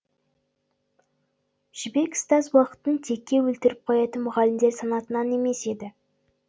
жібек ұстаз уақытын текке өлтіріп қоятын мұғалімдер санатынан емес еді